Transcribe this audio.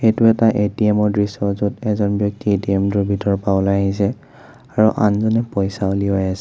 এইটো এটা এ_টি_এম ৰ দৃশ্য য'ত এজন ব্যক্তিয়ে এ_টি_এম টোৰ ভিতৰৰ পৰা ওলাই আহিছে আৰু আনজনে পইচা ওলাই আছে।